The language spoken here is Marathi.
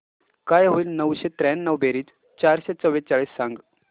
काय होईल नऊशे त्र्याण्णव बेरीज चारशे चव्वेचाळीस सांग